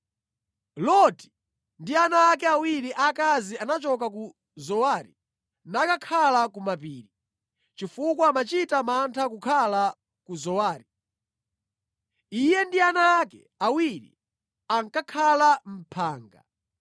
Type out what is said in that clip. Loti ndi ana ake awiri aakazi anachoka ku Zowari nakakhala ku mapiri, chifukwa amachita mantha kukhala ku Zowari. Iye ndi ana ake awiri ankakhala mʼphanga.